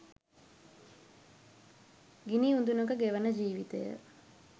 ගිනි උදුනක ගෙවන ජීවිතය